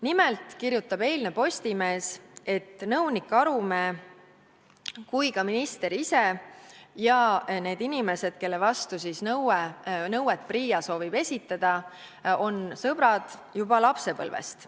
Nimelt kirjutas eilne Postimees, et nii nõunik Arumäe kui ka minister ise ja need inimesed, kelle vastu PRIA soovib nõuet esitada, on sõbrad juba lapsepõlvest.